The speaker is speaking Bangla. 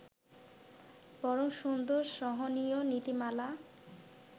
বরং সুন্দর-সহনীয় নীতিমালা